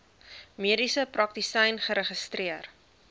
mediese praktisyn geregistreer